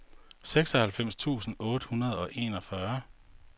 seksoghalvfems tusind otte hundrede og enogfyrre